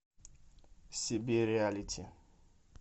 себе реалити